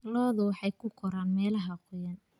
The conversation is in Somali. Lo'du waxay ku koraan meelaha qoyan.